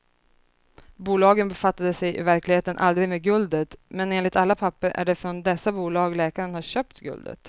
Bolagen befattade sig i verkligheten aldrig med guldet, men enligt alla papper är det från dessa bolag läkaren har köpt guldet.